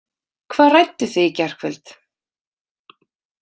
Hvað rædduð þið í gærkvöld?